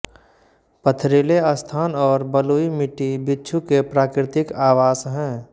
पथरीले स्थान और बलुई मिट्टी बिच्छू के प्राकृतिक आवास हैं